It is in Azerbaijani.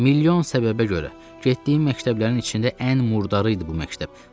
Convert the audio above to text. Milyon səbəbə görə getdiyim məktəblərin içində ən murdarı idi bu məktəb.